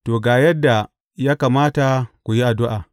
To, ga yadda ya kamata ku yi addu’a.